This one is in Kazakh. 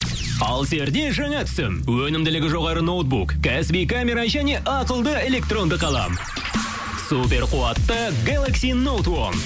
алсерде жаңа түсім өнімділігі жоғары ноутбук кәсіби камера және ақылды электронды қалам супер қуатты гелекси нот уон